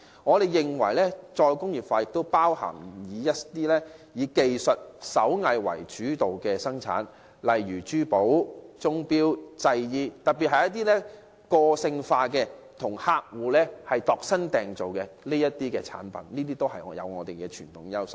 我們認為，"再工業化"亦涵蓋以技術及手藝為主的生產，例如珠寶、鐘錶及製衣，尤其是一些個性化及替客戶度身訂造的產品，均具備傳統優勢。